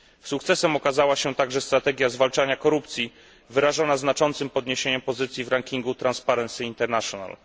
Sukcesem okazała się także strategia zwalczania korupcji wyrażona znaczącym podniesieniem pozycji w rankingu Transparency International.